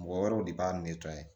Mɔgɔ wɛrɛw de b'a